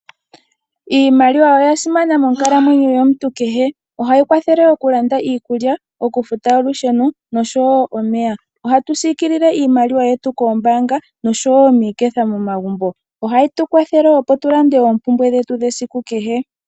Iimaliwa oyasimana moonkalamwenyo yomuntu kehe ohayi kwathele okulanda iikulya, okufuta olusheno oshowo omeya. Ohatu sikilile iimaliwa yetu kombaanga oshowo miiketha momagumbo, ohayi tu kwathele moompumbwe dhetu dhesiku kehe.